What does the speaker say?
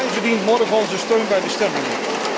Hij verdient morgen onze steun bij de stemmingen.